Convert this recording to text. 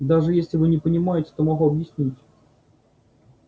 да если вы не понимаете то могу объяснить